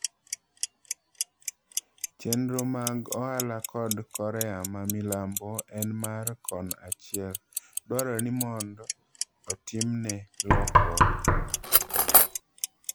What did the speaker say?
"Chendro mag ohala kod Korea ma milambo en mar kon achiel, dwarore ni mod otimne lokruok.